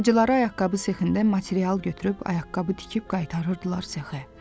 Bacıları ayaqqabı sexində material götürüb ayaqqabı tikib qaytarırdılar sexə.